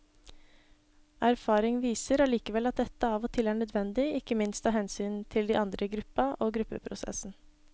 Erfaring viser allikevel at dette av og til er nødvendig, ikke minst av hensyn til de andre i gruppa og gruppeprosessen.